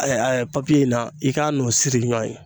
in na i k'a n'o siri ɲɔɔn ye